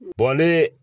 ne